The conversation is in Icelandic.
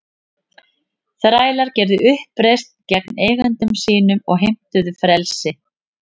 Þrælar gerðu uppreisn gegn eigendum sínum og heimtuðu frelsi.